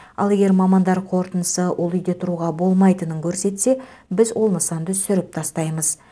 ал егер мамандар қорытындысы ол үйде тұруға болмайтынын көрсетсе біз ол нысанды сүріп тастаймыз